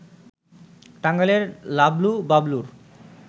টাঙ্গাইলের লাবলু-বাবলুর